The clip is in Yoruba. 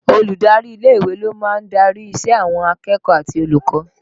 Olùdarí ilé ìwé ló máa ń darí ìṣe àwọn akẹ́kọ̀ọ́ àti olùkọ́